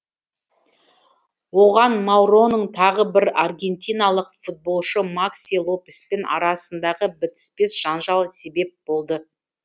оған мауроның тағы бір аргентиналық футболшы макси лопеспен арасындағы бітіспес жанжал себеп болды